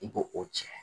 I b'o o tiɲɛ